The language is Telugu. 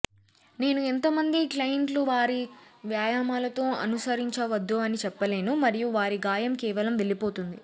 నేను ఎంత మంది క్లయింట్లు వారి వ్యాయామాలతో అనుసరించవద్దు అని చెప్పలేను మరియు వారి గాయం కేవలం వెళ్లిపోతుంది